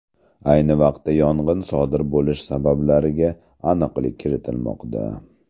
Ayni vaqtda yong‘in sodir bo‘lishi sabablariga aniqlik kiritilmoqda.